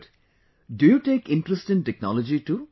Good, do you take interest in technology too